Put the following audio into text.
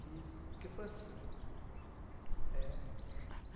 Fiz, porque foi assim. É